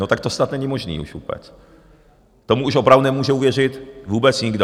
No tak to snad není možné už vůbec, tomu už opravdu nemůže uvěřit vůbec nikdo.